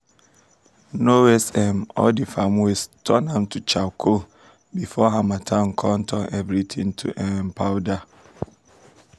no waste um all dem farm waste turn am to charcoal um before harmattan come turn everything to um powder.